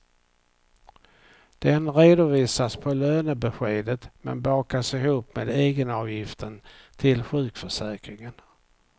Den redovisas på lönebeskedet men bakas ihop med egenavgiften till sjukförsäkringen.